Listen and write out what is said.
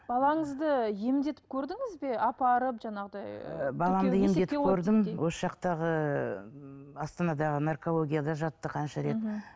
балаңызды емдетіп көрдіңіз бе апарып жаңағыдай баламды емдетіп көрдім осы жақтағы ы астанадағы наркологияда жатты қанша рет мхм